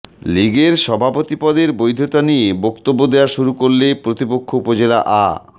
লীগের সভাপতি পদের বৈধতা নিয়ে বক্তব্য দেওয়া শুরু করলে প্রতিপক্ষ উপজেলা আ